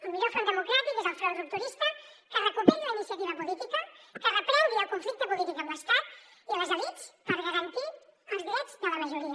el millor front democràtic és el front rupturista que recuperi la iniciativa política que reprengui el conflicte polític amb l’estat i les elits per garantir els drets de la majoria